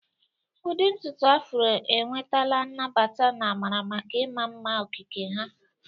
Udi ntutu Afro enwetala nnabata na amara maka ịma mma okike ha.